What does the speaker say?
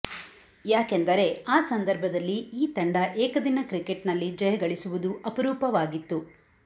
ಯಾಕೆಂದರೆ ಆ ಸಂದರ್ಭದಲ್ಲಿ ಈ ತಂಡ ಏಕದಿನ ಕ್ರಿಕೆಟ್ನಲ್ಲಿ ಜಯ ಗಳಿಸುವುದು ಅಪರೂಪವಾಗಿತ್ತು